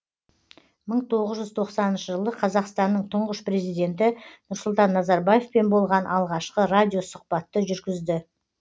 мың тоғыз жүз тоқсаныншы жылы қазақстанның тұңғыш президенті нұрсұлтан назарбаевпен болған алғашқы радиосұхбатты жүргізді